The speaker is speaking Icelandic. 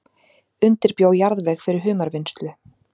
Undirbjó jarðveg fyrir humarvinnslu